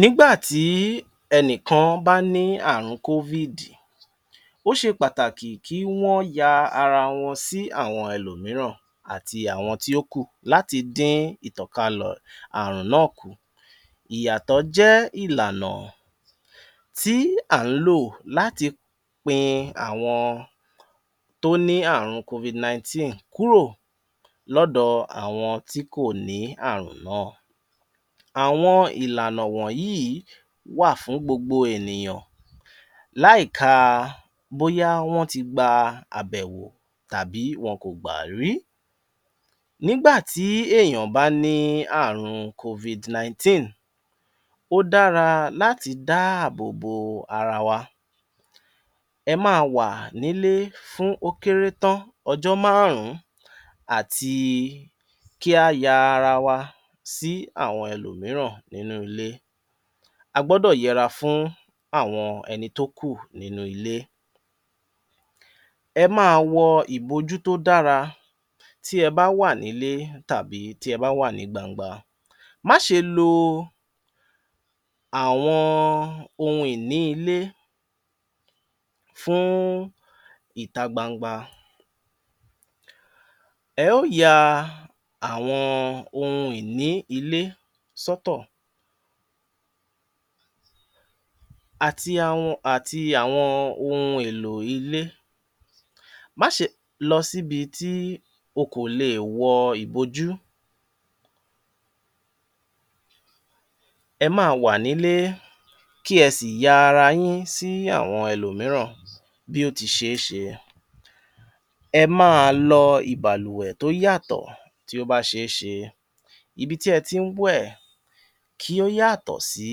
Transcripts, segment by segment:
Nígbà tí ẹnì kan bá ní ààrun covid ó ṣe pàtàkì kí wọ́n ya ara wọn sí àwọn ẹlòmíràn àti àwọn tí ó kù láti dín ìtànkalẹ̀ ààrùn náà kù. Ìyàtọ̀ jẹ́ ìlànà tí à ń lò láti pin àwọn tó ní ààrun covid nineteen kúrò lọ́dọ̀ àwọn tí kò ní ààrùn náà. Àwọn ìlànà wọ̀nyí wà fún gbogbo ènìyàn láì ka bóyá wọ́n ti gba àbẹ̀wò tàbí bóyá wọn kò gbà rí. Nígbà tí èèyàn bá ní ààrun covid nineteen ó dára láti dáàbòbo ara wa. ẹ máa wa nílé fún ó kéré tán ọjọ́ márùn ún àti kí á ya ara wa sí àwọn ẹlòmíràn nínú ilé. A gbọdọ̀ yẹ’ra fún àwọn ẹni tó kù nínú ilé. ẹ máa wọ ìbojú tó dára tí e bá wà nílé tàbí tí ẹ bá wà ní gbangba. Má ṣe lo àwọn ohun ìní ilé fún ìta gbangba. ẹ ó ya àwọn ohun ìní ilé sọ́tọ̀ àti àwọn àti àwọn ohun èlò ilé. Má ṣe lọ sí ibi tí o kò le è wọ ìbojú, ẹ máa wà nílé kí ẹ sì ya ara yín sí àwọn ẹlòmíràn bí ó ti ṣe é ṣe. ẹ máa lọ ìbàlùwẹ̀ tó yàtọ̀ tí ó bá ṣe é ṣe, ibi tí e tí ń wẹ̀ kí ó yàtọ̀ sí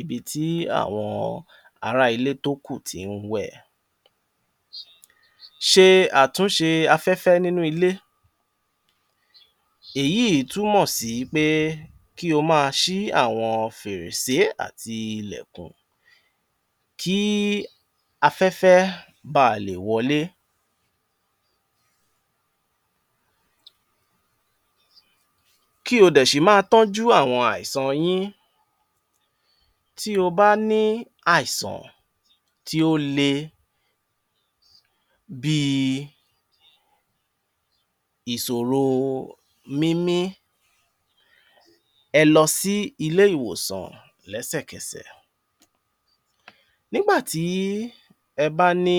ibi tí àwọn ará ilé tó kù tí ń wẹ̀. ṣe àtúnṣe afẹ́fẹ́ nínú ilé, èyíì túmọ̀ sí pé kí o máa ṣí àwọn fèrèsé àti ilẹ̀kùn kí afẹ́fẹ́ ba à lè wọlé kí o dẹ̀ ṣì máa tọ́jú àwọn àìsàn yín tí o bá ní àìsàn tí ó le bí i ìsòro mímí ẹ lọ sí ilé-ìwòsàn lẹ́sẹ̀kẹsẹ̀ nígbà tí ẹ bá ní